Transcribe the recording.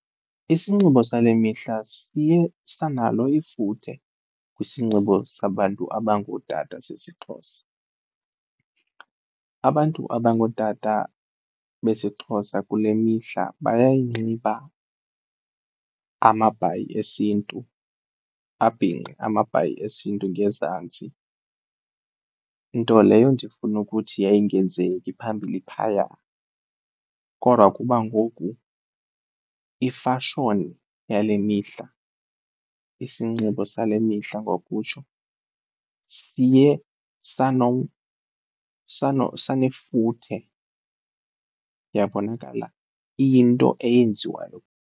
Isinxibo sale mihla siye sanalo ifuthe kwisinxibo sabantu abangootata sesiXhosa. Abantu abangootata besiXhosa kule mihla bayayinxiba amabhayi esiNtu abhinqe amabhayi esiNtu ngezantsi, nto leyo ndifuna ukuthi yayingenzeki phambili phaya. Kodwa kuba ngoku ifashoni yale mihla, isinxibo sale mihla ngokutsho, siye sanefuthe yabonakala iyinto eyenziwayo.